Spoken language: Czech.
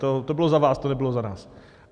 To bylo za vás, to nebylo za nás.